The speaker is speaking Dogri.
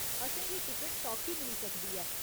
असेंगी टिकट सौखी मिली सकदी ऐ।